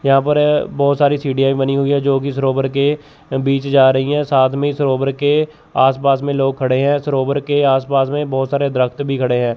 यहां पर बहुत सारी सीढ़ियां भी बनी हुई हैं जो कि सरोवर के बीच जा रही हैं साथ में इस सरोवर के आस पास में लोग खड़े हैं सरोवर के आस पास में बहुत सारे दरखत भी खड़े हैं।